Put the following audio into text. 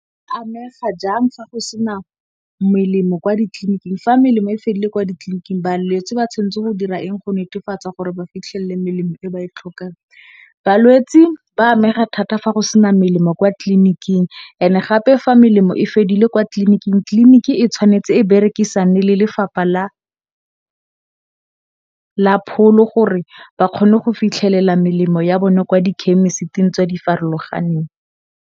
Balwetsi ba amega jang fa go sena melemo kwa ditliliniking, fa melemo e fedile kwa ditliliniking, balwetse ba tshwanetse go dira eng go netefatsa gore ba fitlhele melemo eo ba e tlhokang? Balwetsi ba amega thata fa go sena melemo kwa tlliniking and gape fa melemo e fedile kwa tlliniking, tliliniki e tshwanetse e berekisane le lefapha la pholo gore ba kgone go fitlhelela melemo ya bone kwa di khemisiting tse di farologaneng.